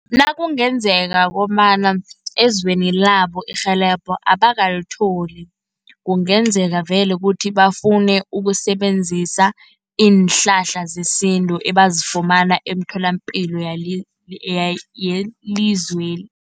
Nakungenzeka kobana ezweni labo irhelebho abakalitholi, kungenzeka vele kuthi bafune ukusebenzisa iinhlahla zesintu, ebazifumana eemtholapilo yelizweli.